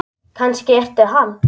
Kannski ertu hann?